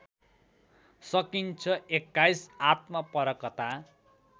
सकिन्छ २१ आत्मपरकता